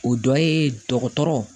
O dɔ ye dɔgɔtɔrɔ